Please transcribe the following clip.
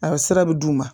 A bɛ sira bɛ d'u ma